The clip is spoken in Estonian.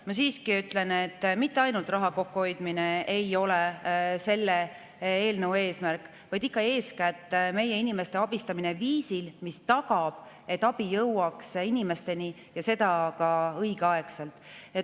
Ma siiski ütlen, et mitte ainult raha kokkuhoidmine ei ole selle eelnõu eesmärk, vaid ikka eeskätt meie inimeste abistamine viisil, mis tagab, et abi jõuaks inimesteni ja seda ka õigeaegselt.